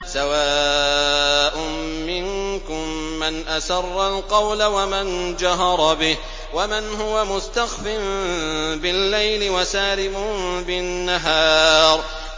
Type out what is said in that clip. سَوَاءٌ مِّنكُم مَّنْ أَسَرَّ الْقَوْلَ وَمَن جَهَرَ بِهِ وَمَنْ هُوَ مُسْتَخْفٍ بِاللَّيْلِ وَسَارِبٌ بِالنَّهَارِ